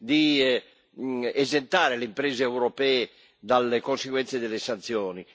di esentare le imprese europee dalle conseguenze delle sanzioni.